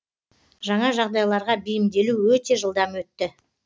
жаңа жағдайларға бейімделу өте жылдам өтті